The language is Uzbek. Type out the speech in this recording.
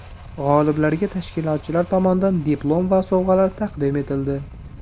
G‘oliblarga tashkilotchilar tomonidan diplom va sovg‘alar taqdim etildi.